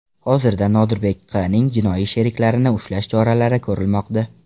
Hozirda Nodirbek Q.ning jinoiy sheriklarini ushlash choralari ko‘rilmoqda.